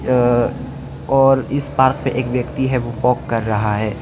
अ और इस पार्क में एक व्यक्ति है वो वॉक कर रहा है।